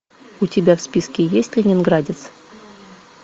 у тебя в списке есть ленинградец